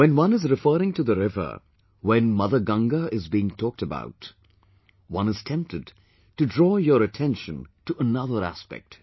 when one is referring to the river; when Mother Ganga is being talked about, one is tempted to draw your attention to another aspect